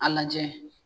A lajɛ